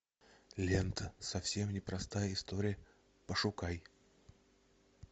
лента совсем непростая история пошукай